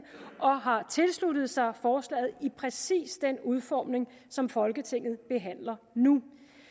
og har tilsluttet sig forslaget i præcis den udformning som folketinget behandler nu